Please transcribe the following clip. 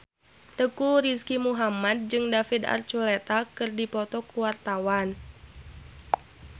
Teuku Rizky Muhammad jeung David Archuletta keur dipoto ku wartawan